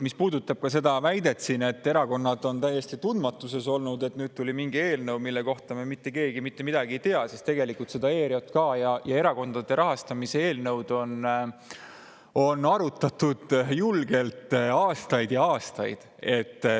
Mis puudutab seda väidet, et erakonnad on täiesti teadmatuses olnud, et nüüd tuli mingi eelnõu, millest mitte keegi mitte midagi ei tea, siis tegelikult seda ERJK ja erakondade rahastamise eelnõu on arutatud julgelt aastaid ja aastaid.